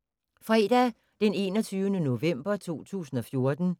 Fredag d. 21. november 2014